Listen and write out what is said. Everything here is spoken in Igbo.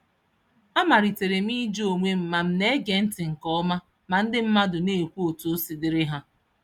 A maliterem ịjụ onwem ma m nege ntị nke ọma, ma ndị mmadụ N'Ekwu otú osi dịrị há